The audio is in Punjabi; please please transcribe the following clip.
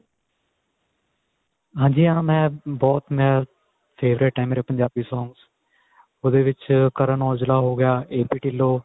ਹਾਂਜੀ ਹਾਂ ਮੈਂ ਬਹੁਤ ਮੈਂ favorite ਏ ਮੇਰੇ ਪੰਜਾਬੀ songs ਉਹਦੇ ਵਿੱਚ Karan aujla ਹੋ ਗਿਆ AP Dillon